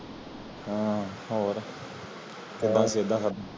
ਹਨ ਹੋਰ